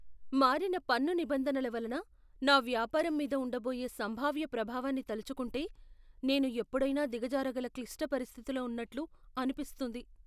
మారిన పన్ను నిబంధనల వలన నా వ్యాపారం మీద ఉండబోయే సంభావ్య ప్రభావాన్ని తలచుకుంటే నేను ఎప్పుడైనా దిగజారగల క్లిష్ట పరిస్థితిలో ఉన్నట్లు అనిపిస్తుంది.